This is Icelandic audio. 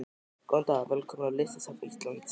Góðan dag. Velkomin á Listasafn Íslands.